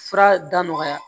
Fura da nɔgɔya